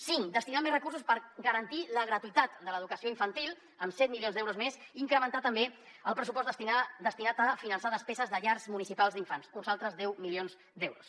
cinc destinar més recursos per garantir la gratuïtat de l’educació infantil amb set milions d’euros més i incrementar també el pressupost destinat a finançar despeses de llars municipals d’infants uns altres deu milions d’euros